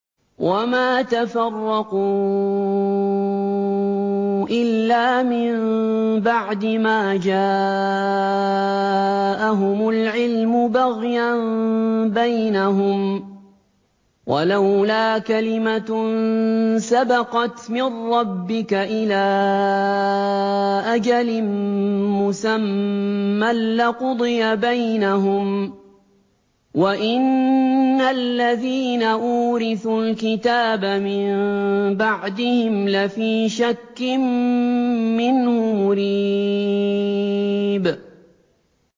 وَمَا تَفَرَّقُوا إِلَّا مِن بَعْدِ مَا جَاءَهُمُ الْعِلْمُ بَغْيًا بَيْنَهُمْ ۚ وَلَوْلَا كَلِمَةٌ سَبَقَتْ مِن رَّبِّكَ إِلَىٰ أَجَلٍ مُّسَمًّى لَّقُضِيَ بَيْنَهُمْ ۚ وَإِنَّ الَّذِينَ أُورِثُوا الْكِتَابَ مِن بَعْدِهِمْ لَفِي شَكٍّ مِّنْهُ مُرِيبٍ